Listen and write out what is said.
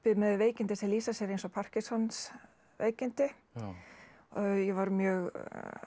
með veikindi sem lýsa sér eins og Parkinsons veikindi ég var mjög